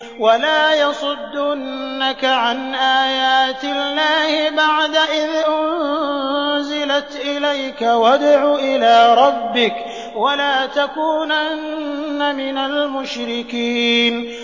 وَلَا يَصُدُّنَّكَ عَنْ آيَاتِ اللَّهِ بَعْدَ إِذْ أُنزِلَتْ إِلَيْكَ ۖ وَادْعُ إِلَىٰ رَبِّكَ ۖ وَلَا تَكُونَنَّ مِنَ الْمُشْرِكِينَ